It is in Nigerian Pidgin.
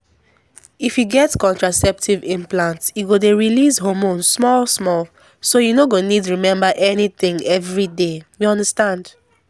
if you get contraceptive implant e go dey release hormone small-small so you no go need remember anything every day — you understand.